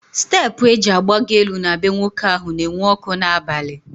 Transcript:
Steepụ eji agbagọ elu na bee nwoke ahụ na enwu ọkụ n'abalị